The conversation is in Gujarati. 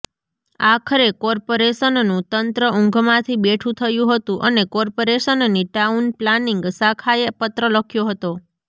આખરે કોર્પાેરેશનનુ તંત્ર ઊંઘમાંથી બેઠુ થયુ હતુ અને કોર્પાેરેશનની ટાઉન પ્લાનિંગ શાખાએ પત્ર લખ્યો હતો